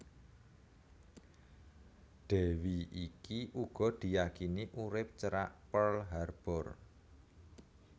Dèwi iki uga diyakini urip cerak Pearl Harbor